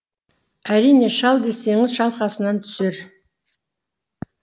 әрине шал десеңіз шалқасынан түсер